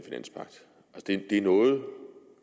det det er noget